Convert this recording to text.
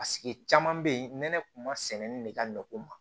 caman bɛ yen nɛnɛ kun ma sɛnɛni de ka nɔgɔn